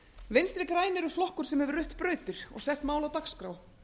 vinstri grænir eru flokkur sem hefur rutt brautir og sett mál á dagskrá